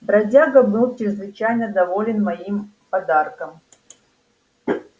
бродяга был чрезвычайно доволен моим подарком